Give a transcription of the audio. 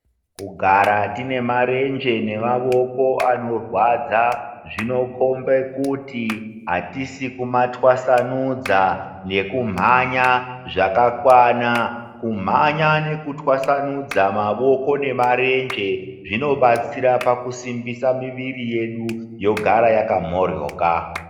Kugara tinemarenje nemaboko anorwadza zvinokombe kuti hatisi kumatwasanudza nekumhanya zvakakwana Kumhanya nekutwasanudza mavoko nemarenje zvinobatsira pakusimbisa miviri yedu yogara yakamhoryoka.